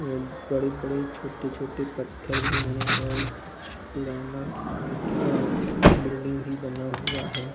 बड़े-बड़े छोटे-छोटे पत्थर भी हैं और कुछ पुराना अ बिल्डिंग भी बना हुआ है।